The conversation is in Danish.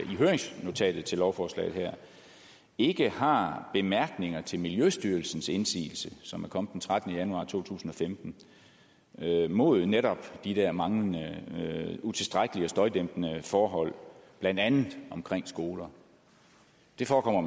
i høringsnotatet til lovforslaget her ikke har bemærkninger til miljøstyrelsens indsigelse som kom den trettende januar to tusind og femten mod netop de der manglende og utilstrækkelige støjdæmpende forhold blandt andet omkring skoler det forekommer